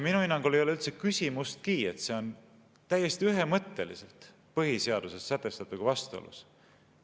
Minu hinnangul ei ole üldse küsimustki, et see on täiesti ühemõtteliselt põhiseaduses sätestatuga vastuolus.